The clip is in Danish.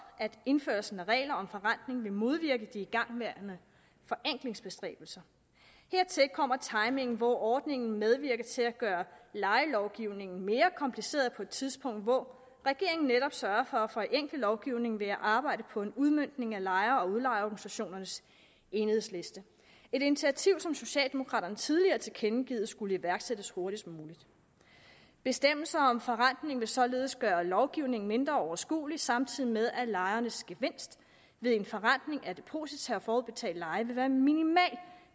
at indførelsen af regler om forrentning vil modvirke de igangværende forenklingsbestræbelser hertil kommer timingen hvor ordningen medvirker til at gøre lejelovgivningen mere kompliceret på et tidspunkt hvor regeringen netop sørger for at forenkle lovgivningen ved at arbejde på en udmøntning af lejer og udlejerorganisationernes enighedsliste et initiativ som socialdemokraterne tidligere har tilkendegivet skulle iværksættes hurtigst muligt bestemmelser om forrentning vil således gøre lovgivningen mindre overskuelig samtidig med at lejernes gevinst ved en forrentning af deposita og forudbetalt leje vil være minimal